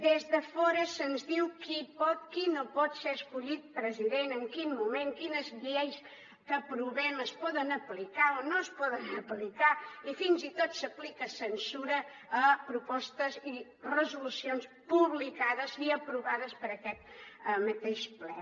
des de fora se’ns diu qui pot qui no pot ser escollit president en quin moment quines lleis que aprovem es poden aplicar o no es poden aplicar i fins i tot s’aplica censura a propostes i resolucions publicades i aprovades per aquest mateix ple